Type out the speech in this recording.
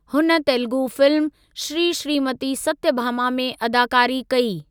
हुन तेलगु फ़िल्म 'श्री श्रीमती सत्यभामा' 'में अदाकारी कई।